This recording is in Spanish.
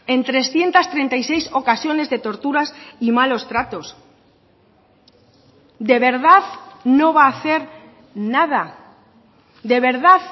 en trescientos treinta y seis ocasiones de torturas y malos tratos de verdad no va a hacer nada de verdad